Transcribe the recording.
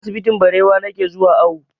Asibitin Barewa na ke zuwa awo